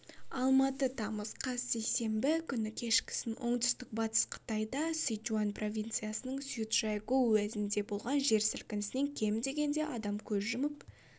алматы тамыз қаз сейсенбі күні кешкісін оңтүстік батыс қытайда сычуань провинциясының цзючжайгоу уезінде болған жер сілкінісінен кем дегенде адам көз жұмып